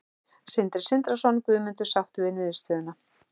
Sindri Sindrason: Guðmundur, sáttur við niðurstöðuna?